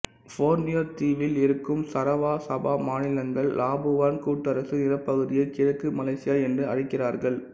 Borneo தீவில் இருக்கும் Sarawak Sabah மாநிலங்கள் லாபுவான் கூட்டரசு நிலப்பகுதியை கிழக்கு மலேசியா என்று அழைக்கிறார்கள்